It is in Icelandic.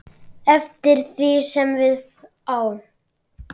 Elsku Didda.